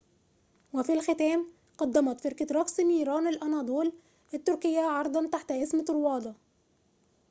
وفي الختام قدمت فرقة رقص نيران الأناضول التركية عرضاً تحت اسم طروادة